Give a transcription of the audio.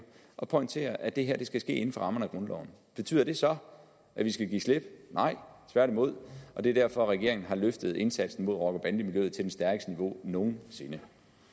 og pointerer at det her skal ske inden for rammerne af grundloven betyder det så at vi skal give slip nej tværtimod og det er derfor regeringen har løftet indsatsen mod rocker bande miljøet til det stærkeste niveau nogen sinde